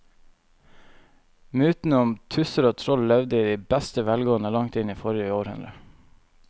Mytene om tusser og troll levde i beste velgående til langt inn i forrige århundre.